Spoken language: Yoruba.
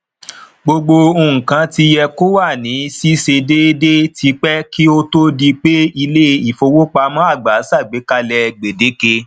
gbogbo nkan ti yẹ kó wa ni ṣiṣe déédé tipẹ ki o tó di pé ilé ìfowópamọ àgbà ṣàgbékalẹ gbedeke